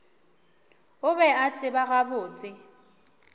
o be a tseba gabotse